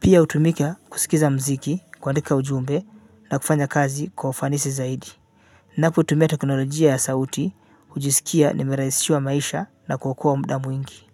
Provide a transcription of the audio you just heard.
pia hutumika kusikiza muziki kuandika ujumbe na kufanya kazi kwa ufanisi zaidi. Ninapotumia teknolojia ya sauti hujisikia nimerahisishiwa maisha na kuokoa muda mwingi.